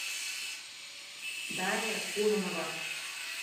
дарья кононова